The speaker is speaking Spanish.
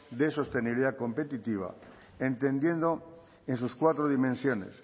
de sostenibilidad competitiva entendiendo en sus cuatro dimensiones